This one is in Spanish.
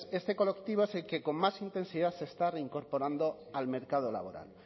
este colectivo es el que con más intensidad se está reincorporando al mercado laboral